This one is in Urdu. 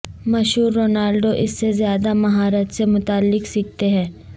مشہور رونالڈو اس سے زیادہ مہارت سے متعلق سیکھتے ہیں